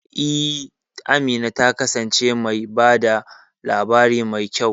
E, Amina ta kasance mai ba da labari mai kyau.